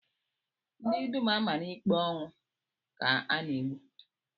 Ndị dum a mara ikpe ọnwụ, ka a na-egbu